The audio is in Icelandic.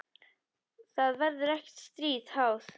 Það verður ekkert stríð háð.